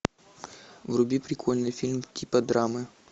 вруби прикольный фильм типа драмы